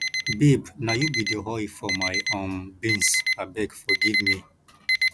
babe na you be the oil for my um beans abeg forgive me